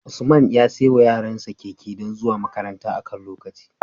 Usman ya saiwa yaran sa Keke don zuwa makaranta akan lokaci